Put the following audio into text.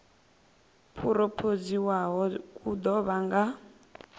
phurophoziwaho ku ḓo vha nga